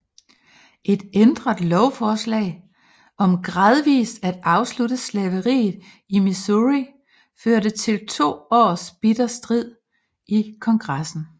Et ændret lovforslag om gradvist at afslutte slaveriet i Missouri førte til to års bitter strid i Kongressen